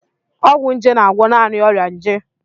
Ọgwụ nje na-agwọ naanị ọrịa nje.